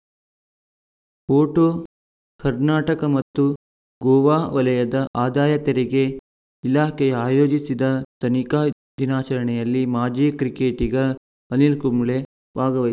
photo Karnataka ಮತ್ತು ಗೋವಾ ವಲಯದ ಆದಾಯ ತೆರಿಗೆ ಇಲಾಖೆಯ ಆಯೋಜಿಸಿದ ತನಿಖಾ ದಿನಾಚರಣೆಯಲ್ಲಿ ಮಾಜಿ ಕ್ರಿಕೆಟಿಗ ಅನಿಲ್‌ ಕುಂಬ್ಳೆ ಭಾಗವ